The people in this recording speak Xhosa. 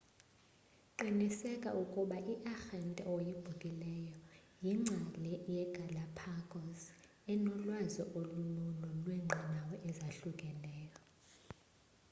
qiniseka ukuba iarhente oyibhukelayo yingcali yegalapagos enolwazi olululo lweenqanawa ezahlukeneyo